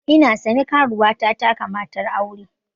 Ina sane, karuwa ta taka matar aure.